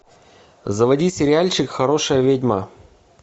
заводи сериальчик хорошая ведьма